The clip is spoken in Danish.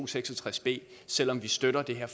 seks og tres b selv om vi støtter det her